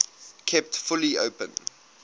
kept fully open